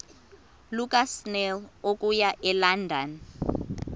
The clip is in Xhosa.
lukasnail okuya elondon